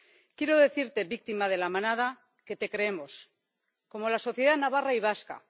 Quiero decirte, víctima de La Manada, que te creemos. Como la sociedad navarra y vasca.